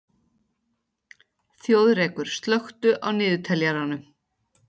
Þjóðrekur, slökktu á niðurteljaranum.